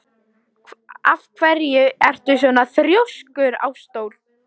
Af hverju ertu svona þrjóskur, Ásdór?